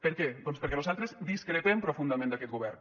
per què doncs perquè nosaltres discrepem profundament d’aquest govern